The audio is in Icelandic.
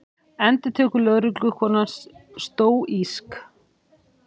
endurtekur lögreglukonan stóísk.